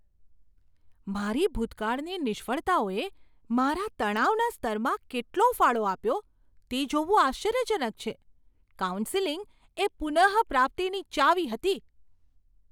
મારી ભૂતકાળની નિષ્ફળતાઓએ મારા તણાવના સ્તરમાં કેટલો ફાળો આપ્યો તે જોવું આશ્ચર્યજનક છે. કાઉન્સેલિંગ એ પુનઃપ્રાપ્તિની ચાવી હતી.